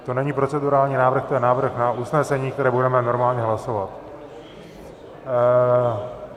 To není procedurální návrh, to je návrh na usnesení, které budeme normálně hlasovat.